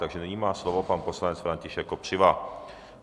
Takže nyní má slovo pan poslanec František Kopřiva.